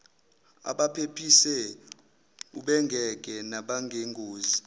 abaphephise ubengeke nangengozi